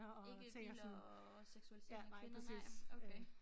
Ikke biler og seksualisering af kvinder nej okay